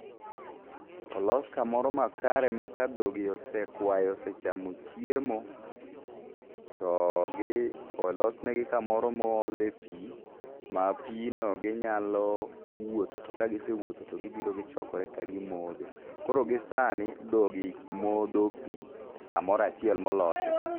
Olos kamoro makare ma kadhogi osekwayo osechamo chiemo, to gi olos negi kamoro ma oole pi ma pino ginyalo wuotho to ka gisewuotho to gibiro to gichokore kaa gimodhe koro gi sani dhogi modho pi kamoro achiel molosi.